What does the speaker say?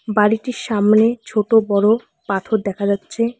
বাড়িটির সামনে ছোটো বড়ো় পাথর দেখা যাচ্ছে।